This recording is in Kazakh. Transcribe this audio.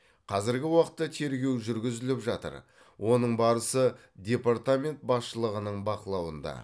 қазіргі уақытта тергеу жүргізіліп жатыр оның барысы департамент басшылығының бақылауында